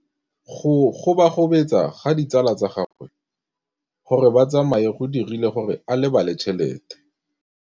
Go gobagobetsa ga ditsala tsa gagwe, gore ba tsamaye go dirile gore a lebale tšhelete.